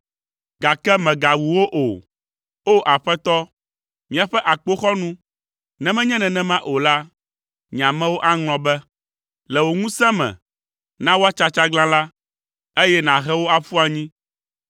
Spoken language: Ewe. Gake mègawu wo o, O! Aƒetɔ, míaƒe akpoxɔnu, ne menye nenema o la, nye amewo aŋlɔ be. Le wò ŋusẽ me, na woatsa tsaglãla, eye nàhe wo aƒu anyi.